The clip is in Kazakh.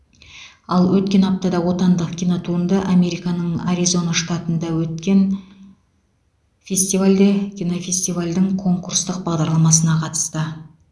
ал өткен аптада отандық кинотуынды американың аризона штатында өткен фестивальде кинофестивальдің конкурстық бағдарламасына қатысты